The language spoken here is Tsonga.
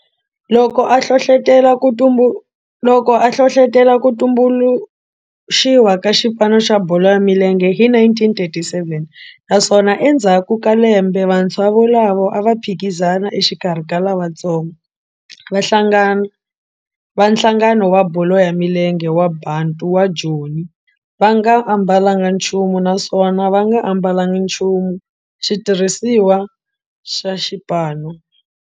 Loko a hlohlotela ku tumbuluxiwa ka xipano xa bolo ya milenge hi 1937 naswona endzhaku ka lembe vantshwa volavo a va phikizana exikarhi ka lavatsongo va nhlangano wa bolo ya milenge wa Bantu wa Joni va nga ambalanga nchumu naswona va nga ambalanga nchumu xitirhisiwa xa xipano.